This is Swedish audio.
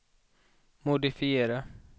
modifiera